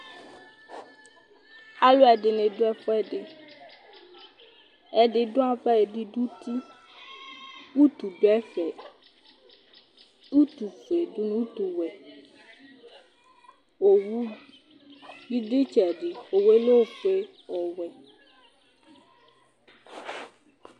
Alʋɛdɩnɩ dʋ ɛfʋɛdɩ Ɛdɩ dʋ ava, ɛdɩ dʋ uti Utu dʋ ɛfɛ, utufue dʋ nʋ utuwɛ Owu bɩ dʋ ɩtsɛdɩ, owu yɛ lɛ ofue, ɔvɛ